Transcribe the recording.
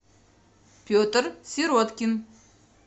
петр сироткин